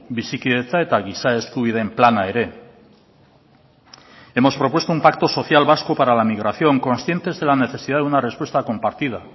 bizikidetza eta giza eskubideen plana ere hemos propuesto un pacto social vasco para la migración conscientes de la necesidad de una respuesta compartida